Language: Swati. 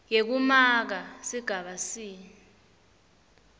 yekumaka sigaba c